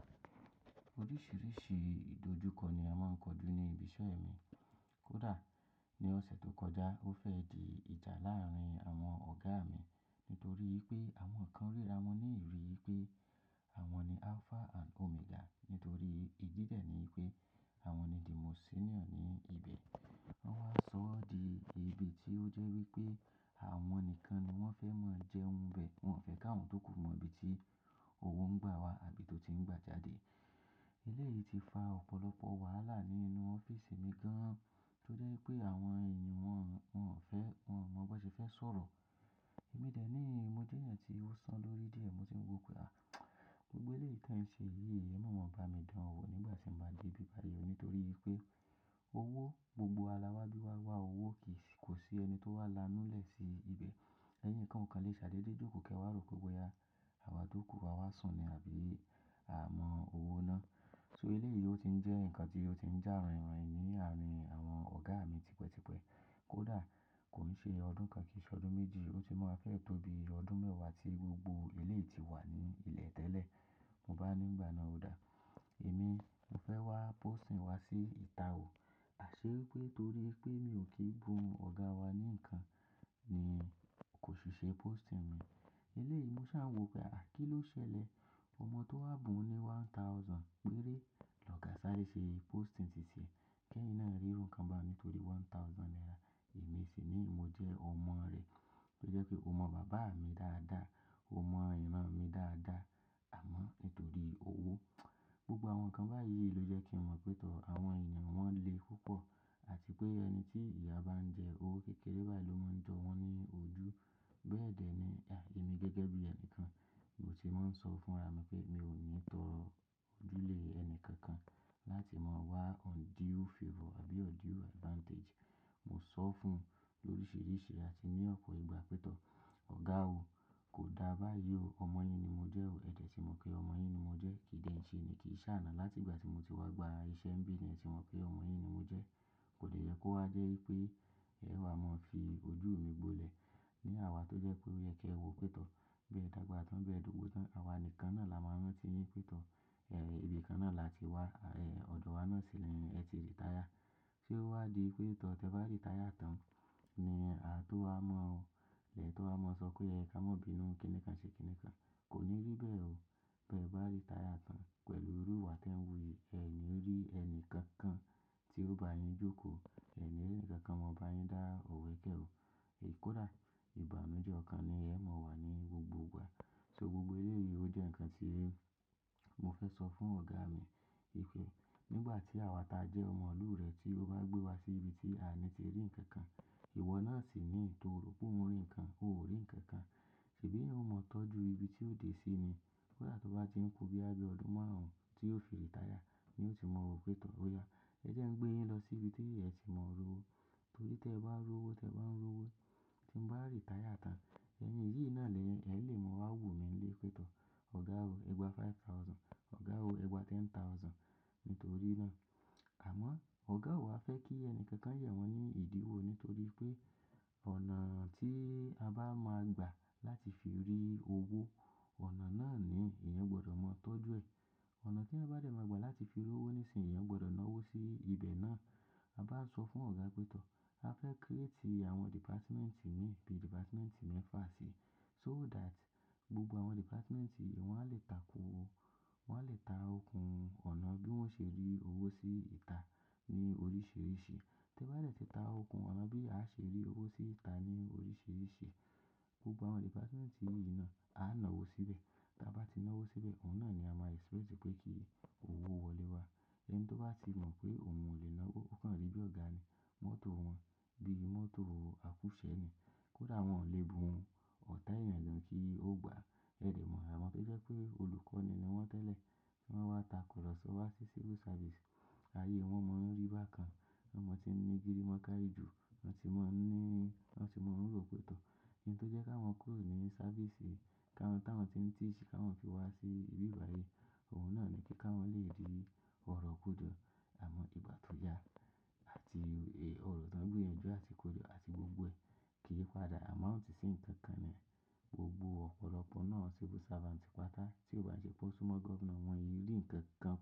Oríṣiríṣi ìdojúkọ ni a máa ń kojú ní ibi iṣẹ́ mi. Kódà ní ọ̀sẹ̀ tó kọjá, ó fẹ́ di ìjà láàárín àwọn ọ̀gá mi nítorí wipé àwọn kan ríra wọn ní ìrí pé àwọn ni alpha and omega nítorí ìdí dẹ̀ ni pé àwọn ni the most senior ní ibẹ̀. Wọ́n wá sọ ọ́ di ibi tí ó jẹ́ wípé àwọn nìkan ni wọ́n fẹ́ máa jẹun bẹ̀, wọ́n ò fẹ́ káwọn tó ku mọ ibi tí òwò ń gbà wá àbí tó ti ń gba jáde. Eléyi ti fa ọ̀pọ̀lọpọ̀ wàhálà nínú ọ́fíísì mi gan-an tó jẹ́ wipé àwọn èèyàn wọ́n, wọ́n ò fẹ́, wọ́n ò mọ bi won ṣe fẹ́ sọ̀rọ̀. Èmi dẹ̀ ní mo jẹ́ ẹyan tí ó san lórí díẹ̀, mo sì ń wò pé à, gbogbo éleyi ti e n ṣe yìí, ẹ̀ mọ̀ lọ́ ba mi dán an wo nígbà tí mo bá dé ibi báyìí nítorí pé owó gbogbo wa lawabi wa wá owó kì í sì, kò sí ẹni tó wá lanú lẹ̀ sí ibẹ̀. Ẹyin kan ò kan lè ṣadé dé jókòó ke wà ró pé boya, àwa jókòó awa sùn ni àbí à mọ owó ná. So eléyì ó ti ń jẹ́ nǹkan tí ó ti ń já ràn ì rán i ní àárín àwọn ọ̀gá mi tipẹ́tipẹ́. Kódà kò ní ṣe ọdún kan kì í ṣe ọdún méjì, ó ti máa fẹ́ tóbi ọdún mẹ́wàá tí gbogbo eléyì ti wà ní ilẹ̀ tẹ́lẹ̀. Mo bá ní n gbà náà ó dá, èmi mo fẹ́ wá posting wá sí ìta ò, àṣé pé torí pé mi ò kí bun ọ̀gá wa ní nǹkan ni kò sì ṣe posting mi. Éleyì mo sá wò pé à kí ló ṣẹlẹ̀? Ọmọ tó wá bun ní one thousand péré lọ́gá sáré ṣe posting titiẹ́. Kẹ́yìn náà rírun nnkan bá ohun nítorí one thousand naira. Èmi sì ní mo jẹ́ ọmọ rẹ, ó jẹ́ pé o mọ bàbá mi dáadáa, o mọ ìran mi dáadáa, àmọ́ nítorí owó. Gbogbo àwọn nǹkan báyìí ló jẹ́ kí n mọ̀ pé tọ̀ọ̀ àwọn èèyàn wọ́n le púpọ̀ àti pé ẹni tí ìyá bá ń jẹ owó kékeré bayi ló máa ń jọ wọ́n ní ojú. Bẹ́ẹ̀ dẹ̀ ni, à èmi gẹ́gẹ́ bí ẹni kan, mo sì máa ń sọ fún ra mi pé mi ò ní tọrọ ojú lè ẹni kankan láti máa wá undue favor àbí undue advantage. Mo sọ fún lóríṣiríṣi àti ní ọ̀pọ̀ ìgbà pé tọ̀ọ̀ ọ̀gá o, kò dá báyi ó, ọmọ yín ni mo jẹ́ o, ẹ̀dẹ̀ tí mo kí ọmọ yín ni mo jẹ́, kí de ń ṣe ni kì í ṣàánà láti ìgbà tí mo ti wá gba iṣẹ́ ń bí le tì mọ̀ pé ọmọ yín ni mo jẹ́. Kò dè yẹ kó wá jẹ́ wípé ẹ wa máa fi ojú mi gbólẹ̀ ní àwá tó jẹ́ pé o yẹ kí ẹ wò pé tọ̀ọ̀, bẹ́ẹ̀ dàgbà tán, bẹ́ẹ̀ dogbò tán. Àwa nìkan náà la máa rán tí yín pé tọ̀ọ̀, ibí kan náà là tí wá, ọ̀dọ̀ wa náà sì ni ẹ̀ ti retire. Sé ó wá di pé tọ̀ọ̀ tẹ bá retire tán ni à tó wá mọ̀ ọ, lẹ tó wá mọ̀ sọ pé ẹ ká mọ̀ bínú kíni kan ṣe kíni kan. Kò ní rí bẹ́ẹ̀ o. Bẹ́ bá retire tán pẹ̀lú irú ìwà tí ẹ̀ ń wù yìí, ẹni rí ẹni kankan tí ó bá yín jókòó, ẹ ni ri ẹnikankan mọ bá yín dá òwe kẹ́ o. Kódà ìbànuje ọkan ni ẹmọ̀ wà ní gbogbo ìgbà. So gbogbo éleyìí ó jẹ́ nǹkan tí mo fẹ́ sọ fún ọ̀gá mi wipé nígbà tí àwa ta jẹ́ ọmọlúurẹ̀ tí ó bá gbé wa sí ibi tí àní ti rí ǹkan kan, ìwọ náà sì ní tọrọ pé òun rí ǹkan, ò rí ǹkan kan. Ṣebi eyan ó mọ tọ́jú ibi tí ó dé sí ni. Kódà tó bá ti ń kú boya bi ọdún márùn-ún tí yiò fi rìmetire ni yiò ti mọ̀ pé tọ̀ọ̀ ó ya. Ẹ jẹ́ ń gbé yín lọ sí ibi tí ẹ sì mọ̀ ro owó. Torí tẹ bá ń ro owó, tẹ bá ń ro owó, tí n bá retire tán, ẹyin yìí náà ni, ẹ lè mọ̀ wá wù mí nílé pé tọ̀ọ̀ ọ̀gá o, ẹ gba five thousand, ọ̀gá o, ẹ gba ten thousand nítorí náà. Àmọ́ ọ̀gá o wa fẹ́ kí ẹni kankan ye awọ́n ní ìdíwò nítorí pé ọ̀nà tí a bá máa gbà láti fi rí owó, ọ̀nà náà ni ìyẹn gbọdọ̀ mọ tọ́jú ẹ. Ọ̀nà tí ẹyan bá dẹ̀ máa gbà láti fi ro owó ní sìn, ìyẹn gbọdọ̀ ná owó sí ibẹ̀ náà. A bá sọ fún ọ̀gá pé tọ̀ọ̀ a fẹ́ create àwọn department níbi department mẹ́fà sí, so that gbogbo àwọn department yìí wọn a lè takó, wọ́n a lè ta okùn ọ̀nà bí wọ́n ṣe rí owó sí ìta ní oríṣiríṣi. Tẹ bá dẹ̀ ti ta okùn ọ̀nà bí a ṣe rí owó sí ìta ní oríṣiríṣi, gbogbo àwọn department yìí náà a ná owó síbẹ̀. Ta bá ti ná owó síbẹ̀, òun náà ni a máa expect pé kí owó wọlé wá. Ẹni tó bá ti mọ̀ pé òun ò lè ná owó, ó kan rí bí ọ̀gá ni, mọ́tò wọn bí mọ́tò àkúṣẹ ni. Kódà wọn ò lè bu ohun ọ̀tá ẹ̀yàn lọ kí ó gbà. Ẹ dẹ̀ mọ̀, àwọ́n to jẹ́ pé olùkọ́ ni wọ́n tẹ́lẹ̀ tí wọ́n wá tako lọ sọ́ọ́ wá sí civil service, ayé wọn mọ̀ ọ́n rì bá kan, wọn mọ̀ tí ń ní giri wọn kárí jù, wọn tì mọ̀ ń ní, wọn tì mọ̀ ń ro pé tọ̀ọ̀. N tó jẹ́ ká wọn kúrò ní sáfísì ká wọn táwọn tí ń tìísì ká wọn fi wá sí ibi báyìí, òun náà ni kí ká wọn lè rí ọ̀rọ̀ kojo, àmọ́ ìgbà tó ya àti ọ̀rọ̀ tán gbiyan ńju àti kojo àti gbogbo ẹ̀, kì í padà. Àmọ́ òun sì ń kankan ni gbogbo ọ̀pọ̀lọpọ̀ náà civil servant ti pa tá tí ò bá ṣe kó súmọ́ governor wọn yìí rí ǹkan kan.